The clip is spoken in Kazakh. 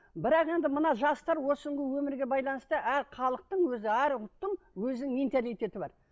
бірақ енді мына жастар осы күнгі өмірге байланысты әр халықтың өзі әр ұлттың өзінің менталитеті бар